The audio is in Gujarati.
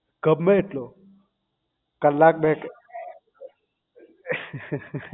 ગમે એટલો કલાક બે